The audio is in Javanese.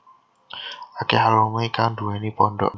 Akèh alumni kang nduwèni pondhok